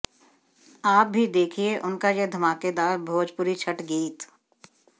आप भी देखिए उनका यह धमाकेदार भोजपुरी छठ गीत